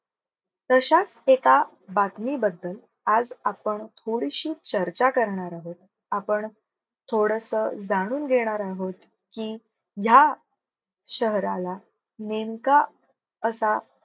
तश्याच एका बातमीबद्दल आज आपण थोडीशी चर्चा करणार आहोत. आपण थोडस जाणून घेणार आहोत की ह्या शहराला नेमका असा